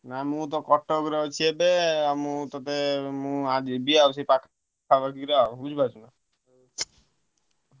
ନାଁ ମୁଁ ତ କଟକ ରେ ଅଛି ଏବେ ଆଁ ମୁଁ ତତେ ମୁଁ ଆ ଯିବି ଆଉ ସେ ପାଖ~ ପାଖି~ ପୁରା ବୁଝି ପାରୁଛୁ ନା।